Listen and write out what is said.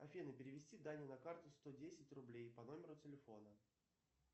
афина перевести дане на карту сто десять рублей по номеру телефона